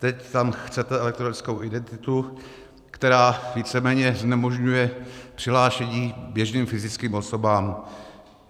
Teď tam chcete elektronickou identitu, která víceméně znemožňuje přihlášení běžným fyzickým osobám.